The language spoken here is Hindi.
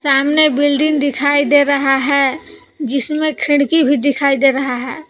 सामने बिल्डिंग दिखाई दे रहा है जिसमें खिड़की भी दिखाई दे रहा है।